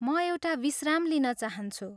म एउटा विश्राम लिन चाहन्छु।